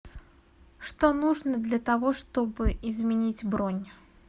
что нужно для того чтобы изменить бронь